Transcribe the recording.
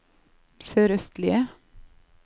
sørøstlige